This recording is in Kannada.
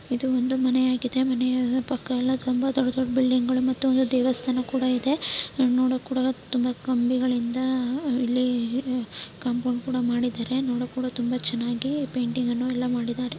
ಇದು ಒಂದು ಮನೆಯಾಗಿದೆ. ಮನೆಯ ಪಕ್ಕ ಎಲ್ಲ ತುಂಬಾ ದೊಡ್ಡ ದೊಡ್ಡ ಬಿಲ್ಡಿಂಗು ಮತ್ತು ಒಂದು ದೇವಸ್ಥಾನ ಕೂಡ ಇದೆ ನೋಡೋಕೆ ತುಂಬಾ ಕಂಬಿಗಳಿಂದ ಇಲ್ಲಿ ಕಾಂಪೌಂಡ್ ಕೂಡ ಮಾಡಿದರೆ ನೋಡೋಕೆ ತುಂಬಾ ಚೆನ್ನಾಗಿ ಪೇಂಟಿಂಗ್ ಎಲ್ಲ ಮಾಡಿದರೆ.